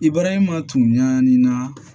Ibarahima tun ɲani na